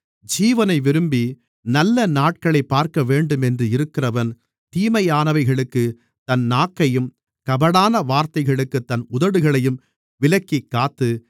ஜீவனை விரும்பி நல்ல நாட்களைப் பார்க்கவேண்டுமென்று இருக்கிறவன் தீமையானவைகளுக்குத் தன் நாக்கையும் கபடான வார்த்தைகளுக்குத் தன் உதடுகளையும் விலக்கிக்காத்து